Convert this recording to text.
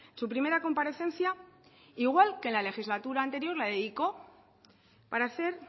su primera comparecencia igual que en la legislatura anterior la dedicó para hacer